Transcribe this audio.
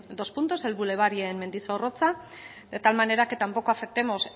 dos puntos el bulevar y en mendizorroza de tal manera que tampoco afectemos